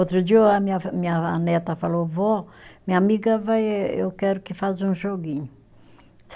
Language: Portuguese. Outro dia o a minha, minha a neta falou, vó, minha amiga vai, eu quero que faz um joguinho.